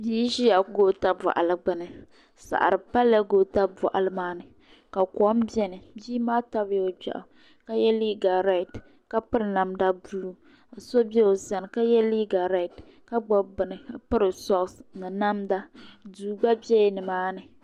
Bia n ʒia goota boɣali gbini saɣari palla goota boɣali maa ni ka kom biɛni bia maa tabila o gbeɣu ka ye liiga red ka piri namda buluu so be o sani ka ye liiga red ka gbibi bini ka piri soksi ni namda duu gba biɛla nimaani.